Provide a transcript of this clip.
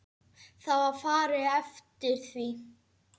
Það var farið eftir því.